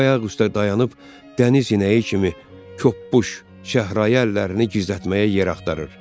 O ayaqüstə dayanıb dəniz inəyi kimi toppuş şəhrayı əllərini gizlətməyə yer axtarır.